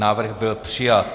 Návrh byl přijat.